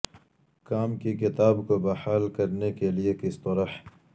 کام کی کتاب کو بحال کرنے کے لئے کس طرح